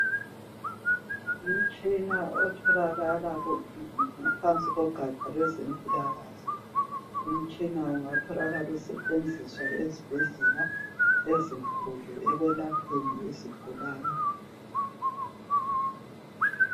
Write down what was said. Umtshina otholaka ngaphansi kogaja lwezempilakahle umtshina ungatholakala usetshenziswa ezibhedlela ezinkulu ekwelapheni izigulane.